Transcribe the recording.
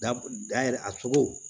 Da yɛrɛ a cogo